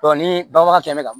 ni banbaga fɛnɛ bɛ ka